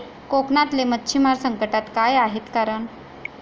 कोकणातले मच्छिमार संकटात, काय आहेत कारणं?